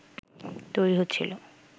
তৈরী হচ্ছিল